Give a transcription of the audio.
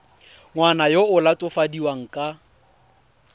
ngwana yo o latofadiwang ka